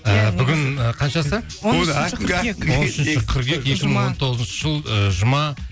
ы бүгін ы қаншасы он үшінші қыркүйек екі мың он тоғызыншы жыл ыыы жұма